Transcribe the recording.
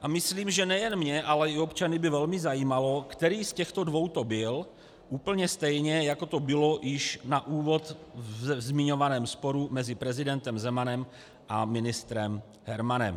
A myslím, že nejen mě, ale i občany by velmi zajímalo, který z těchto dvou to byl, úplně stejně, jako to bylo již na úvod ve zmiňovaném sporu mezi prezidentem Zemanem a ministrem Hermanem.